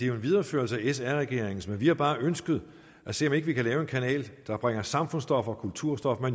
jo en videreførelse af sr regeringens men vi har bare ønsket at se om ikke vi kan lave en kanal der bringer samfundsstof og kulturstof og